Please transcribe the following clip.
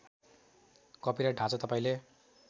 copyright ढाँचा तपाईँले